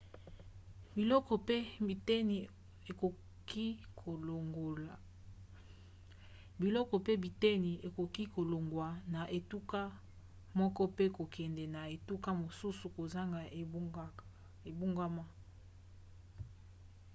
biloko pe biteni ekoki kolongwa na etuka moko pe kokende na etuka mosusu kozanga ebongwana